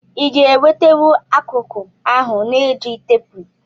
Iga enwetenwu akụku ahu na ejigh tepu?